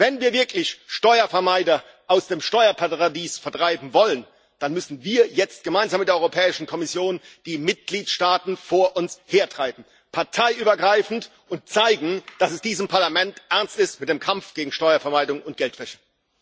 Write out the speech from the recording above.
Wenn wir wirklich Steuervermeider aus dem Steuerparadies vertreiben wollen, dann müssen wir jetzt gemeinsam mit der Europäischen Kommission die Mitgliedstaaten vor uns hertreiben parteiübergreifend und zeigen, dass es diesem Parlament ernst ist mit dem Kampf gegen Steuervermeidung und Geldwäsche.